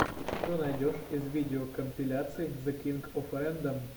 что найдешь из видеокомпиляций зе кинг оф рэндом